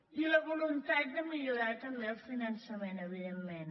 i la voluntat de millorar també el finançament evidentment